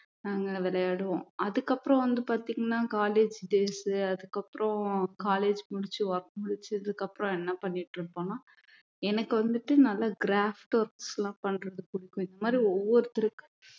நாங்க விளையாடுவோம் அதுக்கப்புறம் வந்து பாத்தீங்கன்னா college days அதுக்கப்புறம் college முடிச்சு work முடிச்சதுக்கு அப்புறம் என்ன பண்ணிட்டு இருந்தோம்னா எனக்கு வந்துட்டு நல்லா craft works எல்லாம் பண்றது பிடிக்கும் இந்த மாதிரி ஒவ்வொருத்தருக்கும்